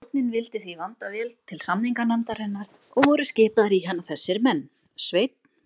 Stjórnin vildi því vanda vel til samninganefndarinnar, og voru skipaðir í hana þessa menn: Sveinn